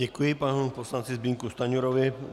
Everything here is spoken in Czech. Děkuji panu poslanci Zbyňku Stanjurovi.